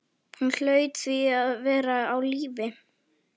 Hún hlaut því að vera á lífi.